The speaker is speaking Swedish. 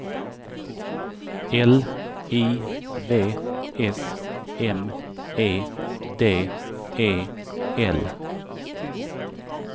L I V S M E D E L